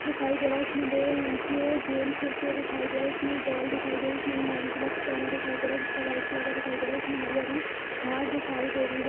दिखाई दे रहा है इसमे दो लड़के गेम खेलते हुए दिखाई दे रहा है इसमें बॉल दिखाई दे रहा है जिसमे पहना दिखाई दे रहा है जिसका वाइट कलर का दिखाई दे रहा है जिसमे हरी हरी घास दिखाई दे रही है |